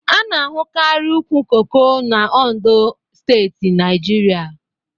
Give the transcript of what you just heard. A na-ahukari ụkwụ koko n'Ondo steeti n'Naijiria